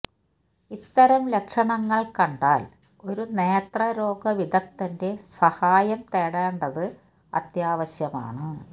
ഇത്തരം ലക്ഷണങ്ങള് കണ്ടാല് ഒരു നേത്രരോഗ വിദഗ്ധന്റെ സഹായം തേടേണ്ടത് അത്യാവശ്യമാണ്